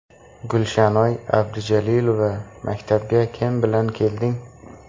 Gulshanoy Abdujalilova Maktabga kim bilan kelding?